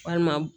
Walima